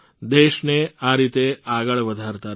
દેશને આ રીતે આગળ વધારતા રહો